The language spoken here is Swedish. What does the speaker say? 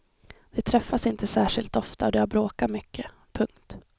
De träffas inte särskilt ofta och de har bråkat mycket. punkt